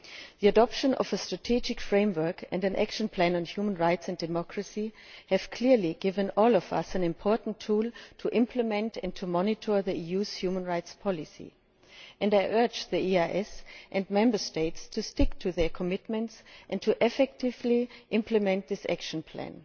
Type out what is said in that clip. The adoption of a Strategic Framework and Action Plan on Human Rights and Democracy has clearly given all of us an important tool to implement and monitor the EU's human rights policy, and I urge the EEAS and Member States to stick to their commitments and to effectively implement this action plan.